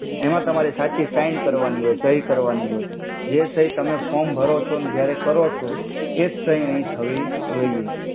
એમા તમારે સાચી સઈન કરવાની હોય સઈ કરવાનિ હોય જે સઈ તમે ફોમ ભરો છો ને ત્યરે કરો છો એજ સઈ આયા થવી જોઇ.